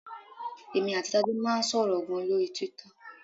Èmi àti Tádé máa ń sọ̀rọ̀ gan-an lórí Twitter.